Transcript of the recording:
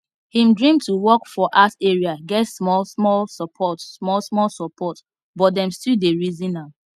him dream to work for art area get smallsmall support smallsmall support but dem still dey reason am